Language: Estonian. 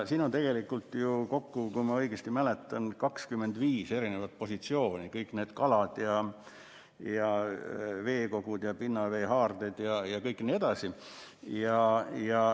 Siin on ju kokku, kui ma õigesti mäletan, 25 positsiooni, kõik need kalad, veekogud, pinnaveehaarded jne.